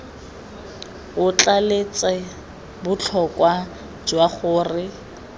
o tlaleletsa botlhokwa jwa gore